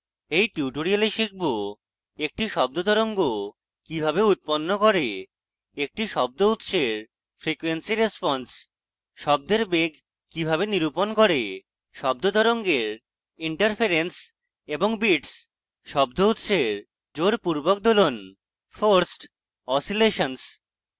in tutorial আমরা শিখব